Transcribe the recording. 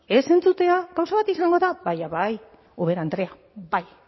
ez entzutea gauza bat izango da baina bai ubera andrea bai